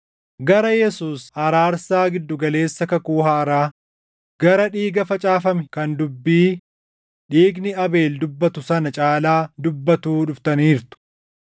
gara Yesuus araarsaa gidduu galeessa kakuu haaraa, gara dhiiga facaafame kan dubbii dhiigni Abeel dubbatu sana caalaa dubbatuu dhuftaniirtu.